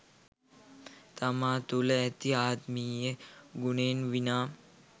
තමා තුළ ඇති ආත්මීය ගුණයෙන් විනා